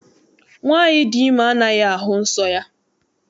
Nwaanyị dị ime anaghị ahụ nsọ ya.